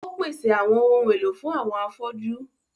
Ó pèsè àwọn ohun èlò fún àwọn afọ́jú.